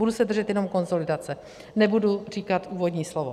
Budu se držet jenom konsolidace, nebudu říkat úvodní slovo.